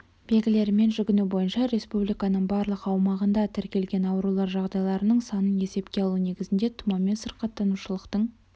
белгілерімен жүгінуі бойынша республиканың барлық аумағында тіркелген аурулар жағдайларының санын есепке алу негізінде тұмаумен сырқаттанушылықтың